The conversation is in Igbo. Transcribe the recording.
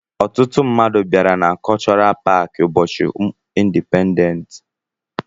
Ọtụtụ mmadụ bịara na kọlchọral paaki ụbọchị indipendensi.